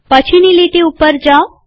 પછીની લીટી પર જાવ